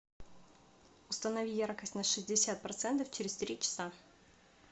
установи яркость на шестьдесят процентов через три часа